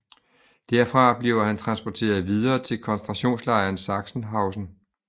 Derfra bliver han transporteret videre til koncentrationslejren Sachsenhausen